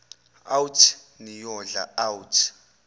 out niyodla out